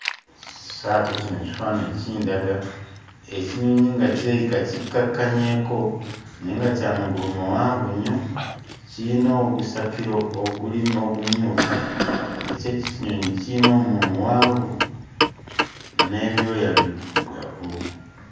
So ate kino ekifaananyi kindaga ekinyonyi nga kirabika kikkakkanyeeko naye nga kya magulu mawanvu nnyo. Kiyina ogusakkiro ogumyufu, nga kyo ekinyonyi kiyina omumwa muwanvu n'ebyoya biddugavu.